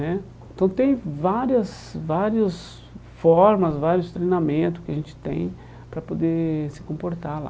Né Então tem várias vários formas, vários treinamentos que a gente tem para poder se comportar lá.